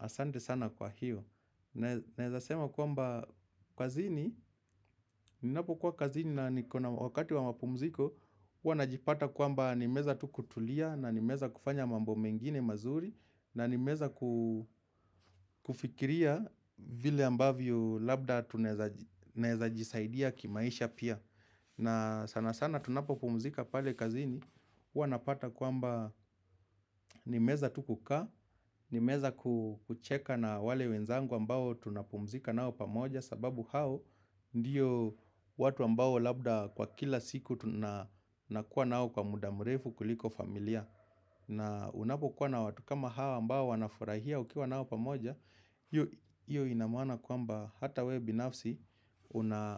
Asante sana kwa hiyo, naeza sema kwamba kazini, ninapokuwa kazini na nikona wakati wa mapumziko, huwa najipata kwamba nimeweza tu kutulia na nimeweza kufanya mambo mengine mazuri na nimeweza kufikiria vile ambavyo labda naeza jisaidia kimaisha pia. Na sana sana tunapopumzika pale kazini, huwa napata kwamba nimeweza tu kukaa, nimeweza kucheka na wale wenzangu ambao tunapumzika nao pamoja. Sababu hao ndio watu ambao labda kwa kila siku tunakuwa nao kwa muda mrefu kuliko familia. Na unapokuwa na watu kama hao ambao wanafurahia ukiwa nao pamoja hiyo ina maana kwamba hata wewe binafsi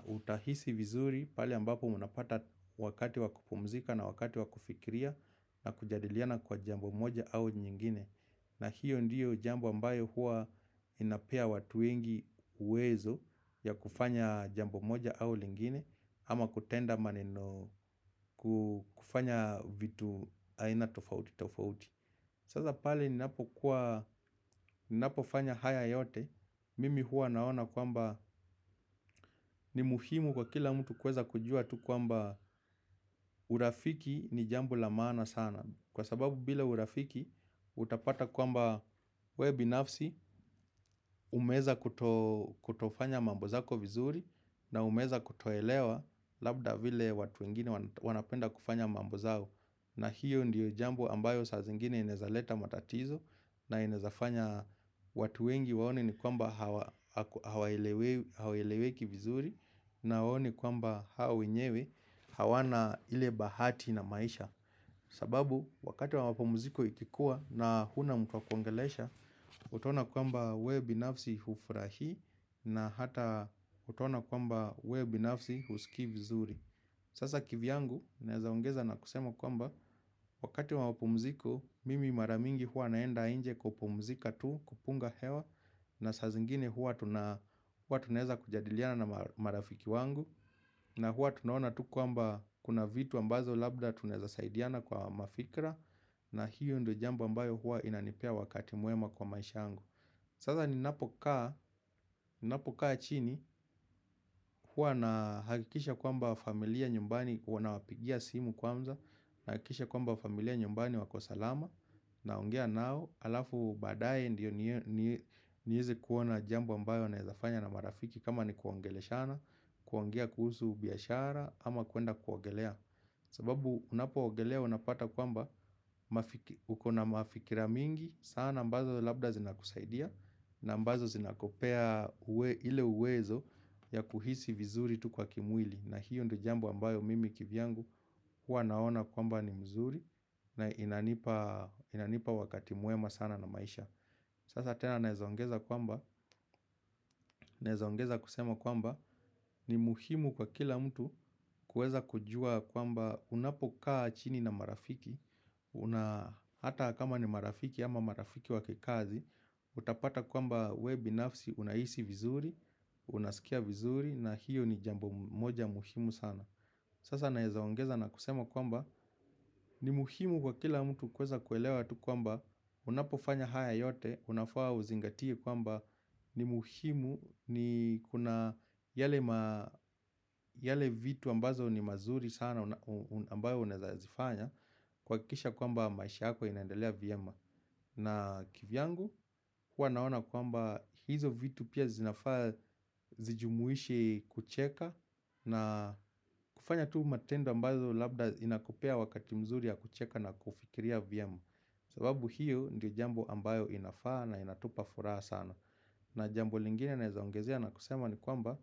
utahisi vizuri pale ambapo unapata wakati wa kupumzika na wakati wa kufikiria na kujadiliana kwa jambo moja au nyingine. Na hiyo ndio jambo ambayo huwa inapea watu wengi uwezo ya kufanya jambo moja au nyingine ama kutenda maneno kufanya vitu aina tofauti tofauti. Sasa pale ninapofanya haya yote, mimi huwa naona kwamba ni muhimu kwa kila mtu kuweza kujua tu kwamba urafiki ni jambo la maana sana. Kwa sababu bila urafiki, utapata kwamba wewe binafsi, umeweza kutofanya mambo zako vizuri na umeweza kutoelewa labda vile watu wengine wanapenda kufanya mambo zao. Na hiyo ndio jambu ambayo saa zingine inaezaleta matatizo. Na inaezafanya watu wengi waone ni kwamba haweleweki vizuri. Na waone kwamba hao wenyewe hawana ile bahati na maisha. Sababu wakati wa mapumziko ikikuwa na huna mtu wa kuongelesha utaona kwamba wewe binafsi hufurahii na hata utaona kwamba wewe binafsi husikii vizuri. Sasa kivyangu, naeza ongeza na kusema kwamba, wakati wa mapumziko, mimi mara mingi huwa naenda nje kupumzika tu kupunga hewa, na saa zingine hua tunaeza kujadiliana na marafiki wangu, na huwa tunaona tu kwamba kuna vitu ambazo labda tunaeza saidiana kwa mafikra, na hiyo ndio jambo ambayo huwa inanipea wakati mwema kwa maisha yangu. Sasa ninapokaa chini huwa nahakikisha kwamba familia nyumbani huwa nawapigia simu kwanza. Nahakikisha kwamba familia nyumbani wako salama naongea nao halafu baadaye ndio niweze kuona jambo ambayo naezafanya na marafiki kama ni kuongeleshana. Kuongea kuhusu biashara ama kuenda kuogelea. Sababu unapoogelea unapata kwamba ukona mafikira mingi sana ambazo labda zinakusaidia na ambazo zinakupea ile uwezo ya kuhisi vizuri tu kwa kimwili. Na hiyo ndio jambo ambayo mimi kivyangu huwa naona kwamba ni mzuri na inanipa wakati mwema sana na maisha. Sasa tena naezaongeza kwamba naezaongeza kusema kwamba ni muhimu kwa kila mtu kuweza kujua kwamba unapokaa chini na marafiki. Hata kama ni marafiki ama marafiki wa kikazi. Utapata kwamba wewe binafsi unahisi vizuri. Unasikia vizuri na hiyo ni jambo moja muhimu sana. Sasa naezaongeza na kusema kwamba ni muhimu kwa kila mtu kuweza kuelewa tu kwamba unapofanya haya yote unafaa uzingatie kwamba ni muhimu ni kuna yale vitu ambazo ni mazuri sana ambayo unaeza zifanya kuhakikisha kwamba maisha yako inaendelea vyema. Na kivyangu huwa naona kwamba hizo vitu pia zinafaa zijumuishe kucheka. Na kufanya tu matendo ambazo labda inakupea wakati mzuri ya kucheka na kufikiria vyema. Sababu hiyo ndio jambo ambayo inafaa na inatupa furaha sana. Na jambo lingine naezaongezea na kusema ni kwamba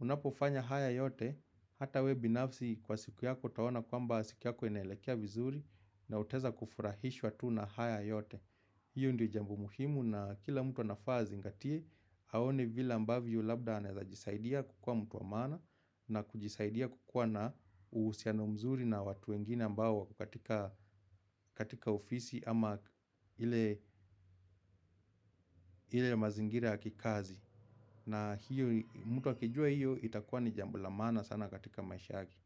unapofanya haya yote hata wewe binafsi kwa siku yako utaona kwamba siku yako inaelekea vizuri. Na utaeza kufurahishwa tu na haya yote. Hiyo ndio jambo muhimu na kila mtu anafaa azingatie aone vile ambavyo labda anaeza jisaidia kukuwa mtu wa maana. Na kujisaidia kukuwa na uhusiano mzuri na watu wengine ambao wako katika ofisi ama ile mazingira ya kikazi. Na hiyo mtu akijua hiyo itakuwa ni jambo la maana sana katika maisha yake.